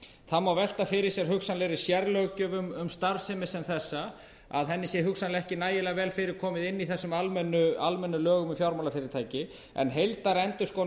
það má velta fyrir sér hugsanlegri sérlöggjöf um starfsemi sem þessa að henni sér hugsanlega ekki nægilega vel fyrir komið inni í þessum almennu lögum um fjármálafyrirtæki en heildarendurskoðun á